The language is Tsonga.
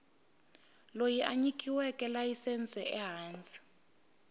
loyi a nyikiweke layisense ehansi